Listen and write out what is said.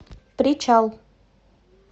причал